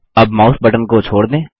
अब mouse button को छोड़ दें